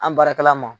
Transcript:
An baarakɛla ma